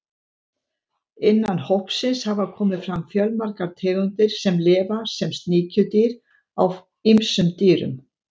Innan hópsins hafa komið fram fjölmargar tegundir sem lifa sem sníkjudýr á ýmsum dýrum.